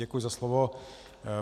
Děkuji za slovo.